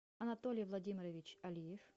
анатолий владимирович алиев